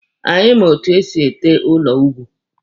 Anyị ma etu esi ete elu ugwu.